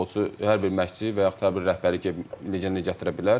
Hər bir futbolçu, hər bir məşqçi və yaxud hər bir rəhbər gedib legionu gətirə bilər.